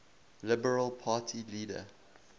liberal party leader